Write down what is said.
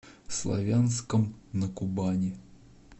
славянском на кубани